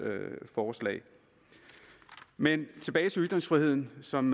forslag men tilbage til ytringsfriheden som